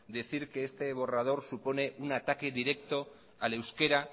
decir que este borrador supone un ataque directo al euskera